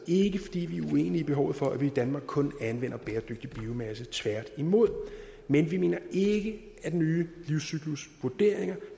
ikke fordi vi er uenige i behovet for at vi i danmark kun anvender bæredygtig biomasse tværtimod men vi mener ikke at nye livscyklusvurderinger